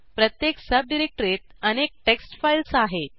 प्रत्येक सबडिरेक्टरीत अनेक टेक्स्ट फाईल्स आहेत